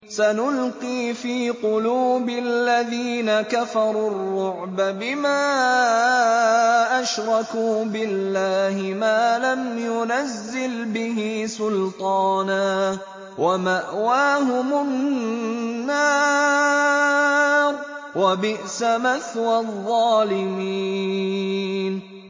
سَنُلْقِي فِي قُلُوبِ الَّذِينَ كَفَرُوا الرُّعْبَ بِمَا أَشْرَكُوا بِاللَّهِ مَا لَمْ يُنَزِّلْ بِهِ سُلْطَانًا ۖ وَمَأْوَاهُمُ النَّارُ ۚ وَبِئْسَ مَثْوَى الظَّالِمِينَ